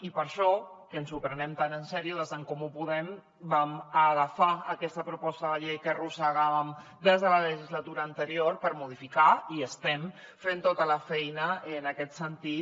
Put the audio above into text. i per això perquè ens ho prenem tan en sèrio des d’en comú podem vam agafar aquesta proposta de llei que arrossegàvem des de la legislatura anterior per modificar la i estem fent tota la feina en aquest sentit